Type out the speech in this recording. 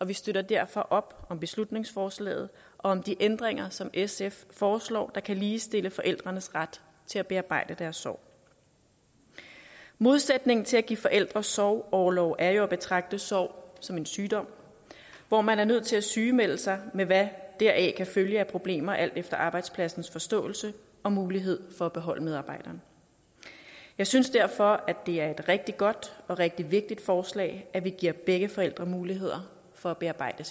vi støtter derfor op om beslutningsforslaget og om de ændringer som sf foreslår kan ligestille forældrenes ret til at bearbejde deres sorg modsætningen til at give forældre sorgorlov er jo at betragte sorg som en sygdom hvor man er nødt til at sygemelde sig men hvad deraf kan følge af problemer alt efter arbejdspladsens forståelse og mulighed for at beholde medarbejderen jeg synes derfor det er et rigtig godt og rigtig vigtigt forslag at vi giver begge forældre muligheder for at bearbejde